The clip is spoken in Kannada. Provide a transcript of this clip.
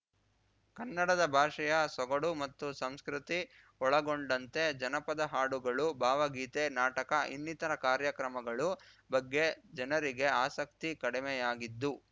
ಕನ್ನಡದ ಭಾಷೆಯ ಸೊಗಡು ಮತ್ತು ಸಂಸ್ಕೃತಿ ಒಳಗೊಂಡಂತೆ ಜನಪದ ಹಾಡುಗಳು ಭಾವಗೀತೆ ನಾಟಕ ಇನ್ನಿತರ ಕಾರ್ಯಕ್ರಮಗಳು ಬಗ್ಗೆ ಜನರಿಗೆ ಆಸಕ್ತಿ ಕಡಿಮೆಯಾಗಿದ್ದು